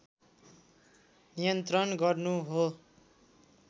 नियन्त्रण गर्नु हो